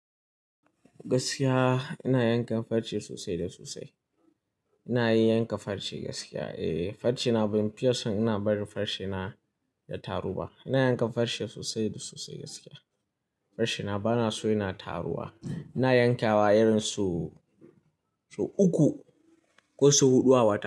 Gaskiya ina yankan farce sosai da sosai. Ina iya yanka farce gaskiya. E, farce na ban fiya ason ina barin farce na ya taru ba. Ina yankan farce sosai da sosai gaskiya. Farce na bana so yana taruwa. Ina yankawa irin sau, sau uku ko sau huɗu a wata.